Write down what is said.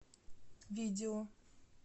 видео